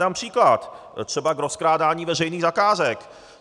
Dám příklad třeba k rozkrádání veřejných zakázek.